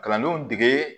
Kalandenw dege